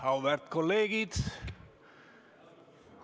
Auväärt kolleegid!